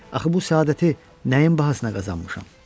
Axı bu səadəti nəyin bahasına qazanmışam?